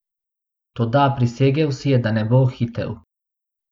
Toda prisegel si je, da ne bo hitel.